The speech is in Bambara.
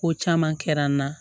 Ko caman kɛra n na